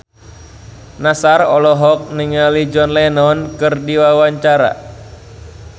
Nassar olohok ningali John Lennon keur diwawancara